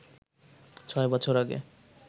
ছয় বছর আগে